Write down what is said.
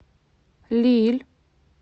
лилль